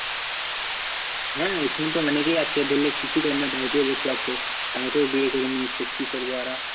হ্যাঁ এখানে তো লেগেই আছে ধরলে কিছুই করে না বাড়িতে বসে আছে তাও তো বিয়ে দিয়ে দিচ্ছে, কি করবে ওরা?